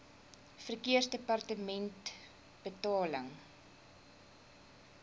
verkeersdepartementebetaling